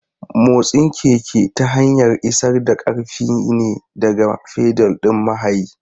Motsin keke ta hanyar isar da ƙarfi ne daga fedal ɗin mahayi.